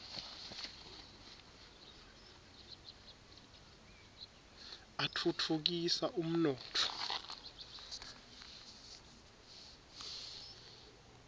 atfutfu kisa umnotfo